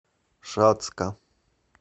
шацка